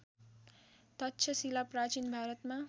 तक्षशिला प्राचीन भारतमा